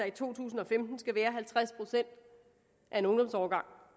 i to tusind og femten skal være halvtreds procent af en ungdomsårgang